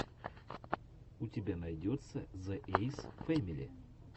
у тебя найдется зе эйс фэмили